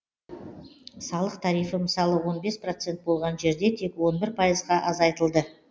салық тарифі мысалы он бес процент болған жерде тек он бір пайызға азайтылды